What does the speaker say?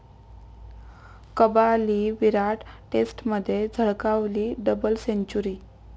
कबाली' विराट, टेस्टमध्ये झळकावली double century!